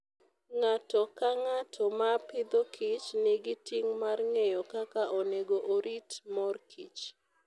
Ng'ato ka ng'ato ma Agriculture and Food, nigi ting' mar ng'eyo kaka onego orit mor kich.